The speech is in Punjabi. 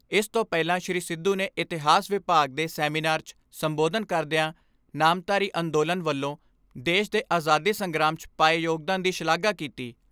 ਇਸ ਤੋਂ ਪਹਿਲਾਂ ਸ੍ਰੀ ਸਿੱਧੂ ਨੇ ਇਤਿਹਾਸ ਵਿਭਾਗ ਦੇ ਸੈਮੀਨਾਰ 'ਚ ਸੰਬੋਧਨ ਕਰਦਿਆਂ ਨਾਮਧਾਰੀ ਅੰਦੋਲਨ ਵੱਲੋਂ ਦੇਸ਼ ਦੇ ਆਜ਼ਾਦੀ ਸੰਗਰਾਮ 'ਚ ਪਾਏ ਯੋਗਦਾਨ ਦੀ ਸ਼ਲਾਘਾ ਕੀਤੀ।